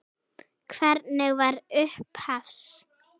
Hvernig var upphafs?